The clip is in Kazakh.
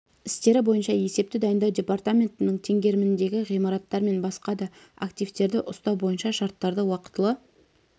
істері бойынша есепті дайындау департаменттің теңгеріміндегі ғимараттар мен басқа да активтерді ұстау бойынша шарттарды уақытылы